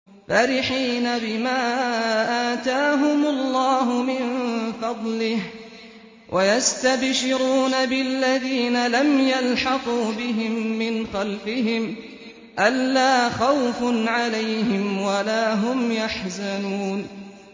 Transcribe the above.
فَرِحِينَ بِمَا آتَاهُمُ اللَّهُ مِن فَضْلِهِ وَيَسْتَبْشِرُونَ بِالَّذِينَ لَمْ يَلْحَقُوا بِهِم مِّنْ خَلْفِهِمْ أَلَّا خَوْفٌ عَلَيْهِمْ وَلَا هُمْ يَحْزَنُونَ